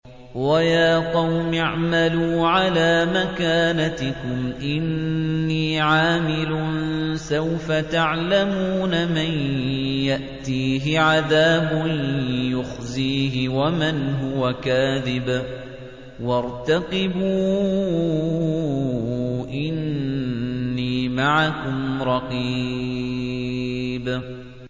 وَيَا قَوْمِ اعْمَلُوا عَلَىٰ مَكَانَتِكُمْ إِنِّي عَامِلٌ ۖ سَوْفَ تَعْلَمُونَ مَن يَأْتِيهِ عَذَابٌ يُخْزِيهِ وَمَنْ هُوَ كَاذِبٌ ۖ وَارْتَقِبُوا إِنِّي مَعَكُمْ رَقِيبٌ